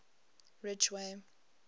ridgeway